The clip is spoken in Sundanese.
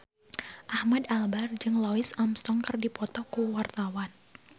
Ahmad Albar jeung Louis Armstrong keur dipoto ku wartawan